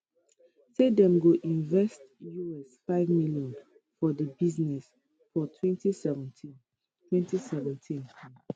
say dem go invest us5 million for di business for 2017 2017 um